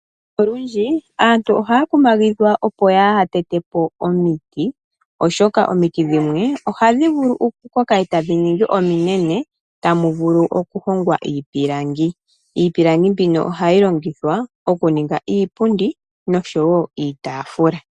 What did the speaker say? Olundji aantu ohaya kumagidhwa opo yaa ha tete po omiti, oshoka omiti dhimwe ohadhi vulu oku koka etadhi ningi ominene tamu vulu oku hongwa iipilangi, iipilangi mbino ohayi longithwa oku ningaa iipundi noshowo iitaafula.